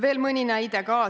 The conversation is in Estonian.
Veel mõni näide.